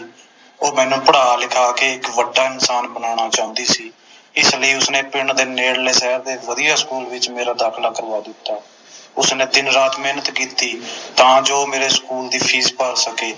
ਉਹ ਮੈਨੂੰ ਪੜ੍ਹਾ ਲਿਖਾ ਕੇ ਇਕ ਵੱਡਾ ਇਨਸਾਨ ਬਨਾਉਣਾ ਚਾਹੁੰਦੀ ਸੀ ਇਸ ਲਈ ਉਸਨੇ ਪਿੰਡ ਦੇ ਨੇੜਲੇ ਸ਼ਹਿਰ ਦੇ ਇਕ ਵਧੀਆ ਸਕੂਲ ਵਿਚ ਮੇਰਾ ਦਾਖਿਲਾ ਕਰਵਾ ਦਿੱਤਾ ਉਸਨੇ ਦਿਨ ਰਾਤ ਮੇਹਨਤ ਕੀਤੀ ਤਾ ਜੋ ਮੇਰੇ ਸਕੂਲ ਦੀ ਫੀਸ ਭਰ ਸਕੇ